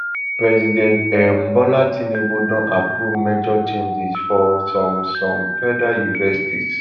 president um bola tinubu don approve major changes for some some federal universities